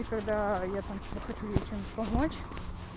и когда я там чем-то хочу ей чем-то помочь